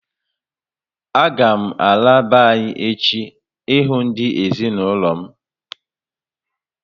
A ga m ala be anyị echi ị hụ ndị ezinụlọ m